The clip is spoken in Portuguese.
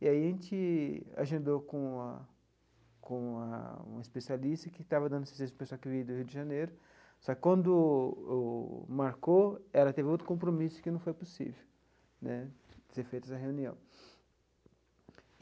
E aí a gente agendou com uma com uma uma especialista que estava dando assistência para a pessoa que vinha do Rio de Janeiro, só que quando o marcou ela teve outro compromisso que não foi possível né, de ser feita essa reunião.